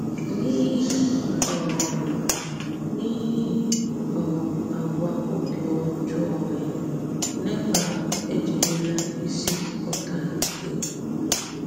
N’íhì um N’íhì um àgwà ọ́bì ọjọọ́ ya, Nèbàl ejìrìla ìsì kọ́tà ébù.